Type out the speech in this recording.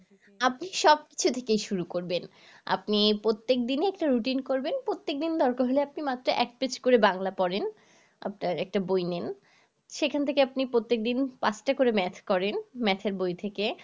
আপনি সব কিছু থেকেই শুরু করবেন, আপনি প্রত্যেকদিনই একটা routine করবেন প্রত্যেকদিন দরকার হলে আপনি মাত্র এক page করে বাংলা পড়েন আপনার একটা বই নেন সেখান থেকে আপনি প্রত্যেকদিন পাঁচটা করে math করেন math এর বই থেকে